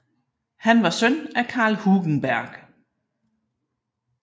Han var søn af Karl Hugenberg